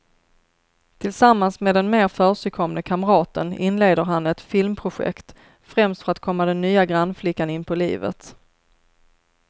Tillsammans med den mer försigkomne kamraten inleder han ett filmprojekt, främst för att komma den nya grannflickan inpå livet.